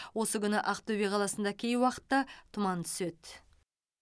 осы күні ақтөбе қаласында кей уақытта тұман түседі